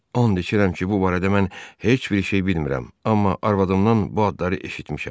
And içirəm ki, bu barədə mən heç bir şey bilmirəm, amma arvadımdan bu adları eşitmişəm.